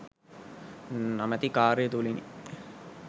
නමැති කාර්ය තුළිනි.